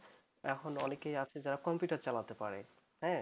এখন অনেকেই আছে যারা computer চালাতে পারে হ্যাঁ